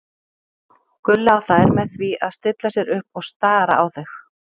Gulla og þær með því að stilla sér upp og stara á þau.